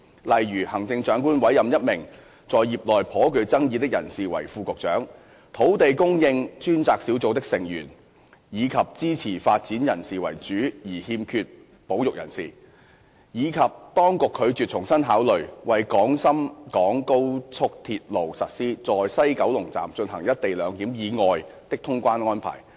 例如，行政長官委任一名在業內頗具爭議的人士為副局長、土地供應專責小組的成員以支持發展人士為主而欠缺保育人士，以及當局拒絕重新考慮為廣深港高速鐵路實施"在西九龍站進行一地兩檢"以外的通關安排。